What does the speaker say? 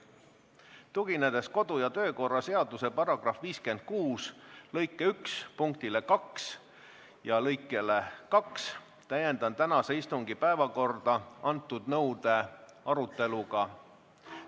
Tuginedes kodu- ja töökorra seaduse § 56 lõike 1 punktile 2 ja lõikele 2, täiendan tänase istungi päevakorda selle nõude aruteluga.